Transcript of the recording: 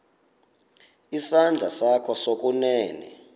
isandla sakho sokunene